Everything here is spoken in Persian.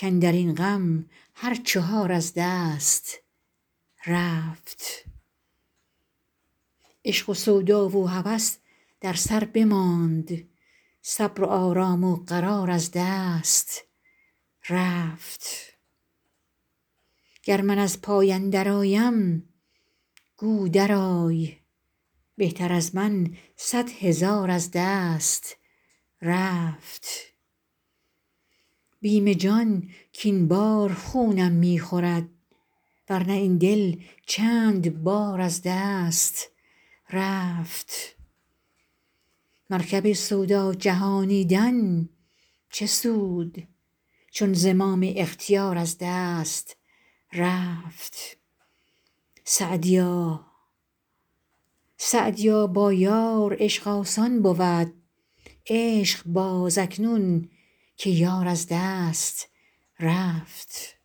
کاندر این غم هر چهار از دست رفت عشق و سودا و هوس در سر بماند صبر و آرام و قرار از دست رفت گر من از پای اندرآیم گو درآی بهتر از من صد هزار از دست رفت بیم جان کاین بار خونم می خورد ور نه این دل چند بار از دست رفت مرکب سودا جهانیدن چه سود چون زمام اختیار از دست رفت سعدیا با یار عشق آسان بود عشق باز اکنون که یار از دست رفت